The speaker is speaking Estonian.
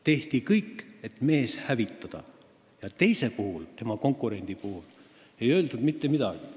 Tehti kõik, et mees hävitada, ja teise, tema konkurendi kohta ei öeldud mitte midagi.